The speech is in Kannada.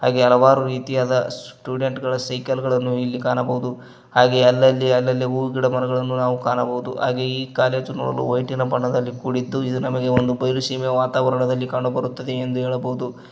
ಹಾಗೆ ಹಲವಾರು ರೀತಿಯಾದ ಸ್ಟುಡೆಂಟ್ ಗಳ ಸೈಕಲ್ ಗಳನ್ನು ಇಲ್ಲಿ ಕಾಣಬಹುದು ಹಾಗೆ ಅಲ್ಲಲ್ಲಿ ಅಲ್ಲಲ್ಲಿ ಹೂ ಗಿಡ ಮರಗಳನ್ನು ನಾವು ಕಾಣಬಹುದು ಹಾಗೆ ಈ ಕಾಲೇಜು ನೋಡಲು ವೈಟಿನ ಬಣ್ಣದಲ್ಲಿ ಕೂಡಿದ್ದು ಇದು ನಮಗೆ ಒಂದು ಬಯಲು ಸೀಮೆ ವಾತಾವರಣದಲ್ಲಿ ಕಂಡು ಬರುತ್ತದೆ ಎಂದು ಹೇಳಬಹುದು.